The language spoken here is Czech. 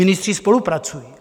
Ministři spolupracují.